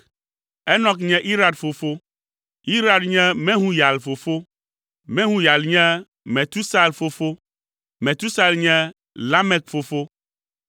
Enɔk nye Irad fofo, Irad nye Mehuyael fofo, Mehuyael nye Metusael fofo, Metusael nye Lamek fofo.